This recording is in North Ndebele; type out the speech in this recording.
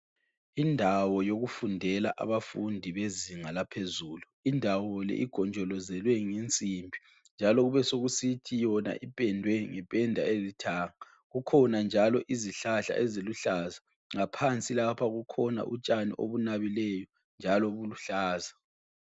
Indawo yokufundela abafundi bezinga laphezulu. Indawo le igonjolozelwe ngensimbi njalo kubesekusithi yona ipendwe ngependa elithanga. Kukhona njalo izihlahla eziluhlaza. Ngaphansi lapha kukhona utshani obunabileyo njalo buluhlaza.